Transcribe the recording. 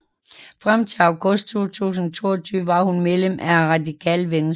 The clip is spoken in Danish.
Frem til august 2022 var hun medlem af Radikale Venstre